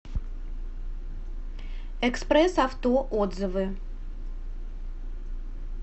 экспресс авто отзывы